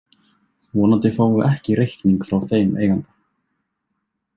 Vonandi fáum við ekki reikning frá þeim eiganda.